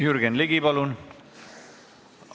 Jürgen Ligi, palun!